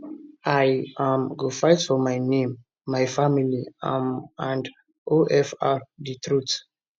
i um go fight for my name my family um and ofr di truth